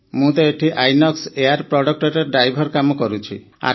ମୁଁ ତ ଏଠି ଆଇନକ୍ସ ଏୟାର ପ୍ରଡକ୍ଟରେ ଡ୍ରାଇଭର କାମ କରୁଛି